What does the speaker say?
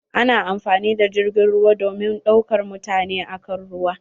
Ana amfani da jirgin ruwa domin daukar mutane a kan ruwa.